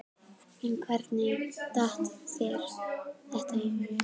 Kristján Már Unnarsson: En hvernig datt þér þetta í hug?